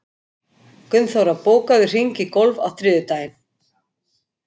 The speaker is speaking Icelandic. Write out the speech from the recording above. Gunnþóra, bókaðu hring í golf á þriðjudaginn.